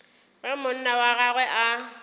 ge monna wa gagwe a